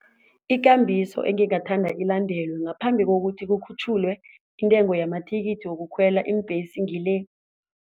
Ikambiso engingathanda ilandelwe ngaphambi kokuthi kukhutjhulwe intengo yamathikithi wokukhwela iimbhesi ngile.